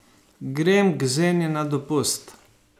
Grem k zeni na dopust.